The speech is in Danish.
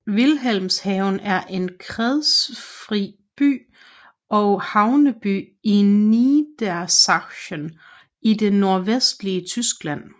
Wilhelmshaven er en kredsfri by og havneby i Niedersachsen i det nordvestlige Tyskland